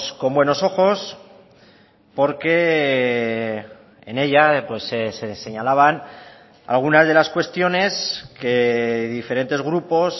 con buenos ojos porque en ella se señalaban algunas de las cuestiones que diferentes grupos